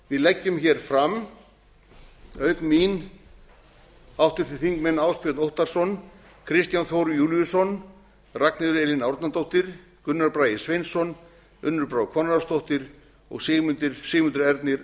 við leggjum hér fram auk mín háttvirtir þingmenn ásbjörn óttarsson kristján þór júlíusson ragnheiður elín árnadóttir gunnar bragi sveinsson unnur brá konráðsdóttir og sigmundur ernir